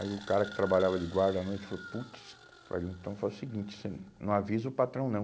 Aí o cara que trabalhava de guarda à noite falou, putz, olha então faz o seguinte, você não avisa o patrão não.